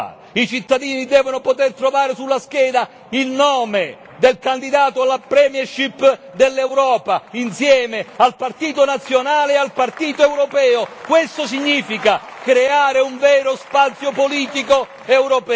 I cittadini devono poter trovare sulla scheda il nome del candidato alla premiership dell'Europa insieme al partito nazionale e al partito europeo. Questo significa creare un vero spazio politico europeo.